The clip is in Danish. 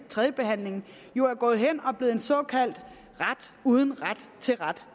tredjebehandlingen jo er gået hen og er blevet en såkaldt ret uden ret til ret